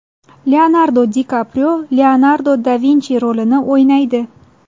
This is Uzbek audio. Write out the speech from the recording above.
Leonardo Di Kaprio Leonardo da Vinchi rolini o‘ynaydi.